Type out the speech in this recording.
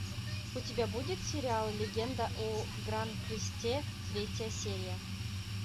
у тебя будет сериал легенда о гранкресте третья серия